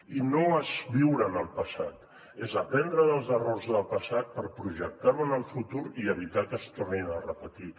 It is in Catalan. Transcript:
i no és viure en el passat és aprendre dels errors del passat per projectar ho en el futur i evitar que es tornin a repetir